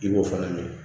I b'o fana min